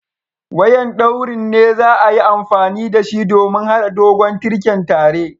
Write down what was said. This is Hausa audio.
Wayan ɗaurin ne za'a yi amfani da shi domin hada dogon tirken tare.